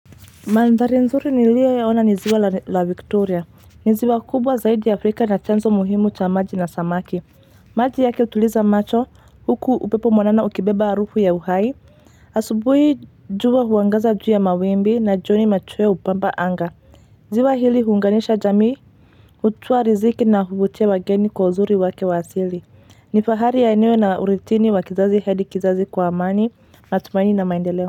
Mandhari nzuri niliyoiona ni Ziwa la Victoria. Ni ziwa kubwa zaidi Afrika na chanzo muhimu cha maji na samaki. Maji yake utuliza macho huku upepo mwanana ukibeba arufu ya uhai asubuhi jua huangaza juu ya mawimbi na jioni machweo hupamba anga. Ziwa hili huunganisha jamii, hutupatia riziki na huvutia wageni kwa uzuri wake wa asili. Ni fahari ya eneo na urithi wa kizazi hadi kizazi kwa amani, matumaini na maendeleo.